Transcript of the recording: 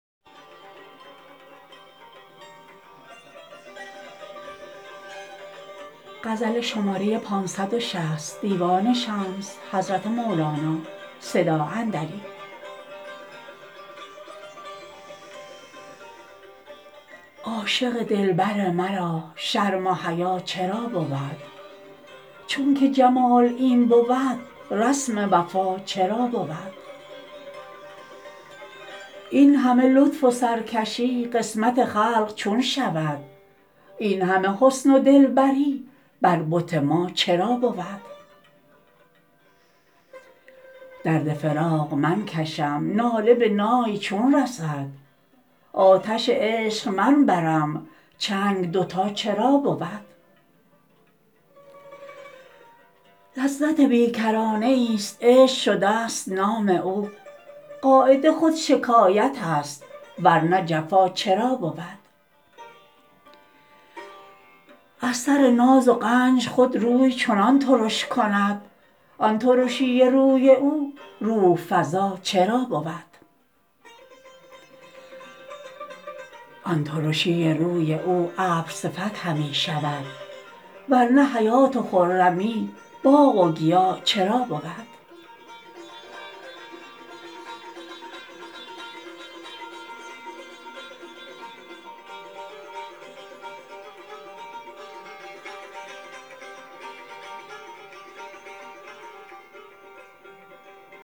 عاشق دلبر مرا شرم و حیا چرا بود چونک جمال این بود رسم وفا چرا بود این همه لطف و سرکشی قسمت خلق چون شود این همه حسن و دلبری بر بت ما چرا بود درد فراق من کشم ناله به نای چون رسد آتش عشق من برم چنگ دوتا چرا بود لذت بی کرانه ایست عشق شدست نام او قاعده خود شکایتست ور نه جفا چرا بود از سر ناز و غنج خود روی چنان ترش کند آن ترشی روی او روح فزا چرا بود آن ترشی روی او ابرصفت همی شود ور نه حیات و خرمی باغ و گیا چرا بود